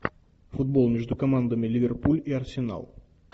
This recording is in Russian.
футбол между командами ливерпуль и арсенал